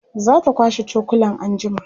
zata kwashe cokulan anjima